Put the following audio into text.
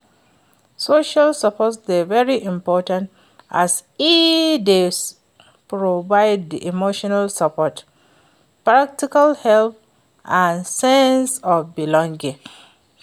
social support dey very important as e dey provide di emotional support, practical help and sense of belonging.